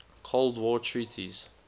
cold war treaties